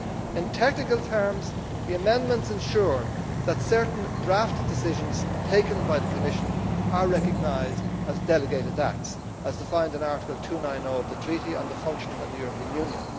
In technical terms, the amendments ensure that certain draft decisions taken by the Commission are recognised as delegated acts as defined in Article 290 of the Treaty on the Functioning of the European Union.